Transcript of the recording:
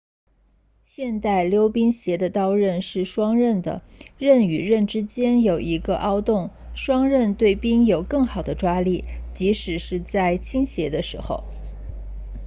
现代溜冰鞋的刀刃是双刃的刃与刃之间有一个凹洞双刃对冰有更好的抓力即使是在倾斜的时候